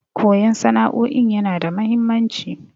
Koyan sana'o'in yana da mahimmanci.